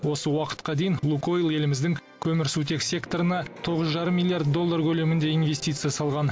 осы уақытқа дейін лукойл еліміздің көмірсутек секторына тоғыз жарым миллиард доллар көлемінде инвестиция салған